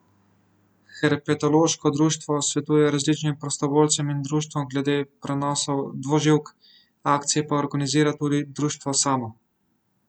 Herpetološko društvo svetuje različnim prostovoljcem in društvom glede prenosov dvoživk, akcije pa organizira tudi društvo samo.